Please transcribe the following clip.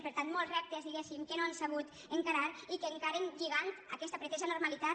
per tant molts reptes diguéssim que no han sabut encarar i que encaren lligant aquesta pretesa normalitat